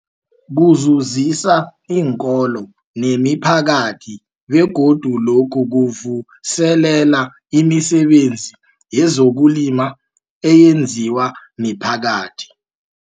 Kuzuzisa iinkolo nemiphakathi begodu lokhu kuvuselela imisebenzi yezokulima eyenziwa miphakathi.